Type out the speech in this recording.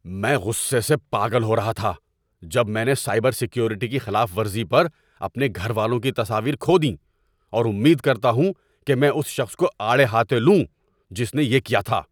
میں غصے سے پاگل ہو رہا تھا جب میں نے سائبر سیکیورٹی کی خلاف ورزی پر اپنے گھر والوں کی تصاویر کھو دیں اور امید کرتا ہوں کہ میں اس شخص کو آڑے ہاتھ لوں جس نے یہ کیا تھا۔